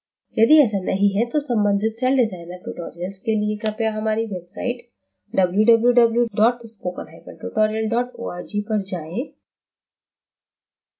यदि ऐसा नहीं है तो सम्बंधित celldesigner tutorials के लिए कृपया हमारी website www spokentutorial org पर जाएँ